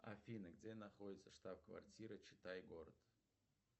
афина где находится штаб квартира читай город